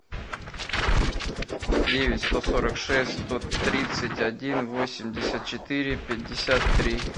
девять сто сорок шесть сто тридцать один восемьдесят четыре пятьдесят три